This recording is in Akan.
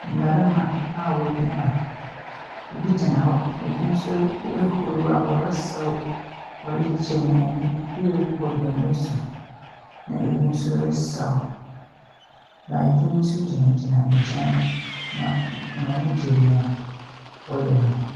Mmarima, ɛbi gyina hɔ na ɛbi nso hurihuri a ɔsaw, ɔregye wɔn ani, Ɛbi rebɔ dondo so na ɛbi nso resaw na ɛbi nso gyina gyina nkyɛn na wɔn ani gye deɛ ɔreyɛ no ho.